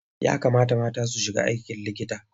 Ya kamata mata su shiga aikin likita.